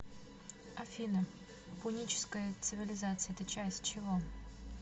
афина пуническая цивилизация это часть чего